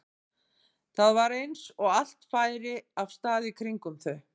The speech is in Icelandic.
Það var eins og allt færi af stað í kringum þau.